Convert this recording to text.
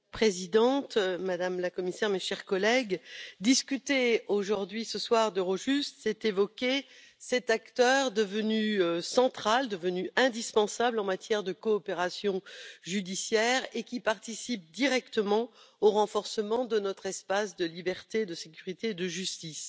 Madame la Présidente, Madame la Commissaire, mes chers collègues, discuter aujourd'hui ce soir d'Eurojust, c'est évoquer cet acteur devenu central et indispensable en matière de coopération judiciaire et qui participe directement au renforcement de notre espace de liberté, de sécurité et de justice.